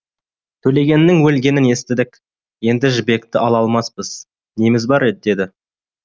төлегеннің өлгенін естідік енді жібекті ала алмаспыз неміз бар еді деді